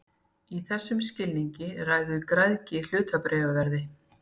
Í þessum skilningi ræður græðgi hlutabréfaverði.